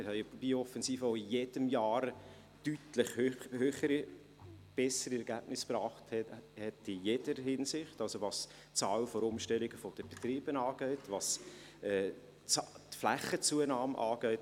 Wir haben eine Biooffensive, die jedes Jahr in jeder Hinsicht deutlich höhere, bessere Ergebnisse erzielt hat, also, was die Zahl der Umstellung von Betrieben angeht, was die Flächenzunahme angeht.